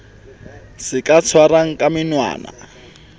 se ka tshwarwang ka menwana